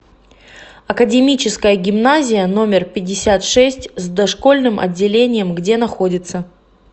академическая гимназия номер пятьдесят шесть с дошкольным отделением где находится